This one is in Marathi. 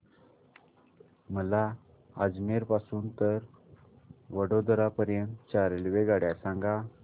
मला अजमेर पासून तर वडोदरा पर्यंत च्या रेल्वेगाड्या सांगा